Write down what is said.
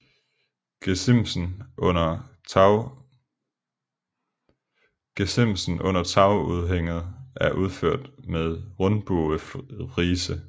Gesimsen under tagudhænget er udført med rundbuefrise